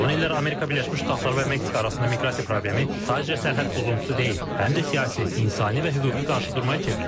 Son illər Amerika Birləşmiş Ştatları və Meksika arasında miqrasiya problemi sadəcə sərhəd pozuntusu deyil, həm də siyasi, insani və hüquqi qarşıdurmaya çevrilib.